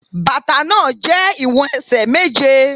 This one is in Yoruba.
Bàtà náà jẹ́ ìwọ̀n ẹsẹ̀ méje.